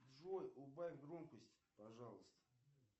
джой убавь громкость пожалуйста